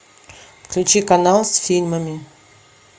включи канал с фильмами